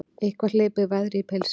Eitthvað hleypir veðri í pilsin